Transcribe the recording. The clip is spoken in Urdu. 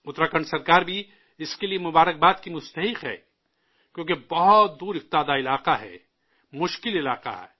اتراکھنڈ سرکار بھی اس کے لیے مبارکباد کی مستحق ہے، کیوں کہ بہت دور دراز کا علاقہ ہے، مشکل علاقہ ہے